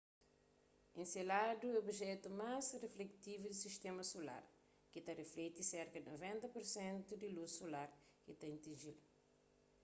enseladu é objetu más rifleksivu di sistéma solar ki ta riflekti serka di 90 pur sentu di lus solar ki ta atinji-l